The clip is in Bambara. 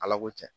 Ala ko cɛn